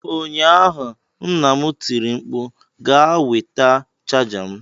Ụnyaahụ nna m tiri mkpu "Gaa nweta chaja m!"